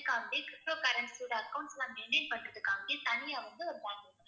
அதுக்காகவே ptocurrency ஓட accounts எல்லாம் maintain பண்றதுக்காவே தனியா வந்து ஒரு bank இருக்கு.